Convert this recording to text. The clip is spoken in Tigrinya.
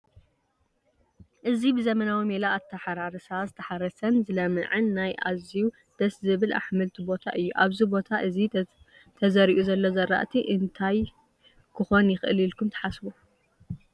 እዚ ብዘበናዊ ሜላ ኣታሓራርሳ ዝተሓረሰን ዝለመዐን ናይ ኣዝዩ ደስ ዝብል ኣሕምልቲ ቦታ እዩ፡፡ ኣብዚ ቦታ እዚ ተዘሪኡ ዘሎ ዝራእቲ እንታይ ክኾን ይኽእል ኢልኩም ትሓስቡ?